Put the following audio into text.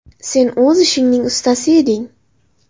Sen o‘z ishingning ustasi eding.